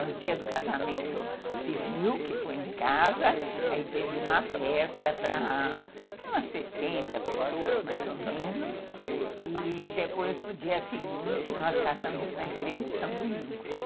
No dia do casamento civil, que foi em casa, aí teve uma festa para umas sessenta pessoas, mais ou menos, e depois, no dia seguinte, nós casamos na igreja de São Domingos.